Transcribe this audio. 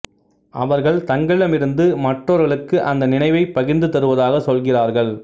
அவர்கள் தங்களிடம் இருந்து மற்றவர்களுக்கு அந்த நினைவைப் பகிர்ந்து தருவதாகச் சொல்கிறார்கள்